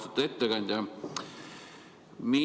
Austatud ettekandja!